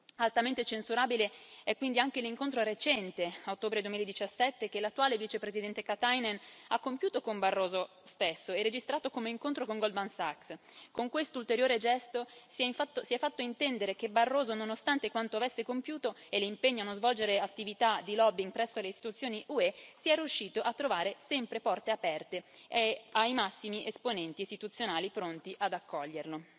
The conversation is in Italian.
Altamente censurabile è quindi anche l'incontro recente, a ottobre 2017, che l'attuale Vicepresidente Katainen ha compiuto con Barroso stesso e registrato come incontro con Goldman Sachs. Con questo ulteriore gesto si è fatto intendere che Barroso, nonostante quanto avesse compiuto e l'impegno a non svolgere attività di lobbying presso le istituzioni UE, sia riuscito a trovare sempre porte aperte presso i massimi esponenti istituzionali, pronti ad accoglierlo.